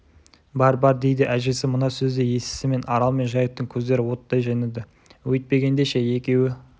бар бар дейді әжесі мына сөзді естісімен арал мен жайықтың көздері оттай жайнады өйтпегенде ше екеуі